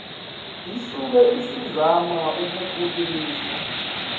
isuke isizama ukukhulisa